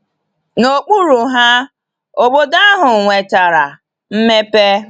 N'okpuru ha, obodo ahụ nwetara mmepe.